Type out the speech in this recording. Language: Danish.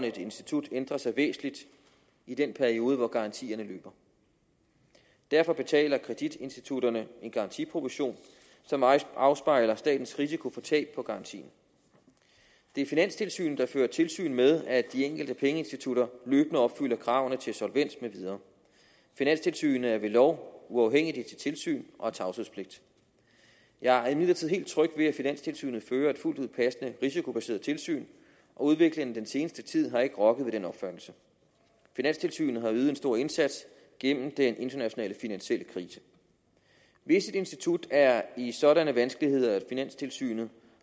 et institut ændrer sig væsentligt i den periode hvor garantierne løber derfor betaler kreditinstitutterne en garantiprovision som afspejler statens risiko for tab på garantien det er finanstilsynet der fører tilsyn med at de enkelte pengeinstitutter løbende opfylder kravene til solvens med videre finanstilsynet er ved lov uafhængigt i sit tilsyn og har tavshedspligt jeg er imidlertid helt tryg ved at finanstilsynet fører et fuldt ud passende risikobaseret tilsyn og udviklingen i den seneste tid har ikke rokket ved den opfattelse finanstilsynet har ydet en stor indsats gennem den internationale finansielle krise hvis et institut er i sådanne vanskeligheder at finanstilsynet